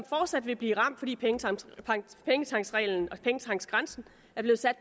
fortsat vil blive ramt fordi pengetanksreglen og pengetanksgrænsen er blevet sat